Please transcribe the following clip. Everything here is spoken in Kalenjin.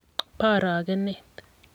bo arogenet.